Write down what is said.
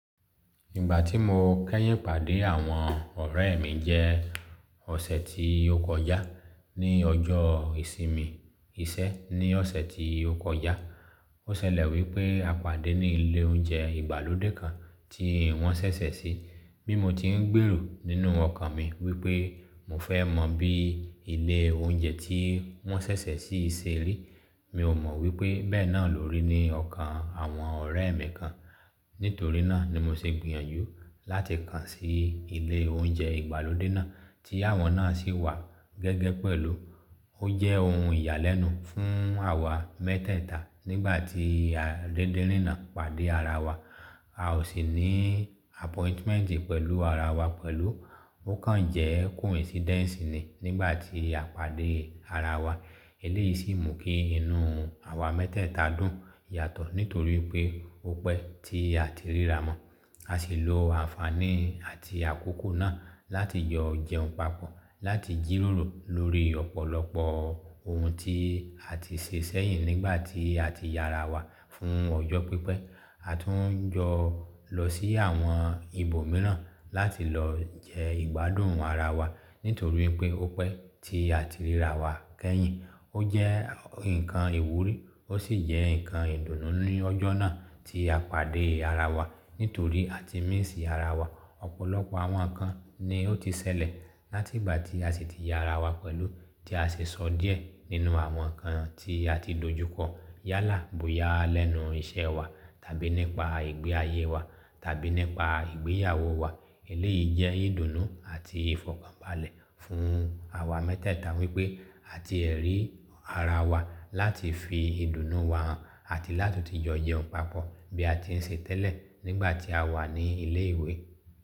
Ìgbà tí mo kẹ́yìn pàdé àwọn ọ̀rẹ́ mi jẹ́ ọ̀sẹ̀ tí ó kọjá ní ọjọ́ ìsinmi iṣẹ́ ní ọ̀sẹ̀ tí ó kọjá. Ó ṣẹlẹ̀ wípé a pàdé ní ilé oúnjẹ ìgbàlódé kan tí wọ́n ṣẹ̀ṣẹ̀ sí. Bí mo ti ń gbèrò nínú ọkàn mi wípé mo fẹ́ mọ bí ilé oúnjẹ tí wọ́n ṣẹ̀ṣẹ̀ sí ṣe rí, mi ò mọ wípé bẹ́ẹ̀ náà ló rí ní ọkàn àwọn ọ̀rẹ́ mi kan. Nítorí náà ni mo ṣe gbìyànjú láti kàn sí ilé oúnjẹ ìgbàlódé náà tí àwọn náà sì wà gẹ́gẹ́ pẹ̀lú. Ó jẹ́ ohun ìyàlẹ́nu fún àwa mẹ́tẹ̀ẹ̀ta nígbà tí a dédérinà pàdé ara wa. A ò sì ní appointment pẹ̀lú ara wa pẹ̀lú. Ó kàn jẹ́ coincidence ni nígbà tí a pàdé ara wa. Eléyìí sì mú kí inú àwa mẹ́tẹ̀ẹ̀ta dùn yàtọ̀ nítorí pé ó pẹ́ tí a ti ríra mọ. A sì lo àǹfààní àti àkókò náà láti jọ jẹun papọ̀, láti jírórò lórí ọ̀pọ̀lọpọ̀ ohun tí a ti ṣe sẹ́yìn nígbà tí a ti ya ara wa fún ọjọ́ pípẹ́. A tún jọ lọ sí àwọn ibòmíràn láti lọ jẹ ìgbádùn ara wa nítorí pé ó pẹ́ tí a ti ríra wa kẹ́yìn. Ó jẹ́ nǹkan ìwúrí ó sì jẹ́ nǹkan ìdùnnú ní ọjọ́ náà tí a pàdé ara wa. Nítorí àti miisi ara wa ọ̀pọ̀lọpọ̀ àwọn nǹkan ni ó ti ṣẹlẹ̀ láti ìgbà tí a sì ti ya ara wa pẹ̀lú tí a ṣe sọ díẹ̀ nínú àwọn nǹkan tí a ti lòjúkọ yálà bóyá lẹ́nu iṣẹ́ wa tàbí nípa ìgbé ayé wa tàbí nípa ìgbéyàwó wa. Eléyìí jẹ́ ìdùnnú àti ìfọ̀kànbalẹ̀ fún àwa mẹ́tẹ̀ẹ̀ta wípé àti ẹ̀ rí ara wa láti fi ìdùnnú wa hàn àti láti ti jọ jẹun papọ̀ bí a ti ń ṣe tẹ́lẹ̀ nígbà tí a wà ní ilé ìwé.